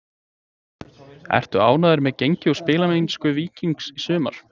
Ertu ánægður með gengi og spilamennsku Víkings í sumar?